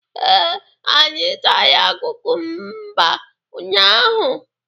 Ee, anyị tara kumkumba unyaahụ.